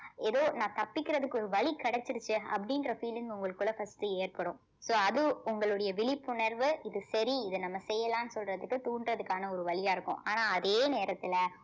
ஏதோ நான் தப்பிக்கிறதுக்கு ஒரு வழி கிடைச்சிருச்சே அப்படின்ற feeling உங்களுக்குள்ள first ஏற்படும் so அது உங்களுடைய விழிப்புணர்வு இது சரி இத நம்ம செய்யலாம்ன்னு சொல்றதுக்கு தூண்டுறதுக்கான ஒரு வழியா இருக்கும் ஆனா அதே நேரத்துல